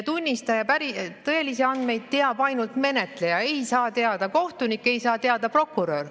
Tunnistaja tõelisi andmeid teab ainult menetleja, neid ei saa teada kohtunik, ei saa teada prokurör.